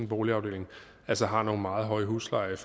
boligafdeling altså har nogle meget høje huslejer i